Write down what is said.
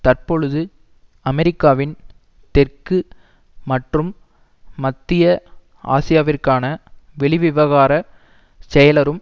தற்பொழுது அமெரிக்காவின் தெற்கு மற்றும் மத்திய ஆசியாவிற்கான வெளிவிவகார செயலரும்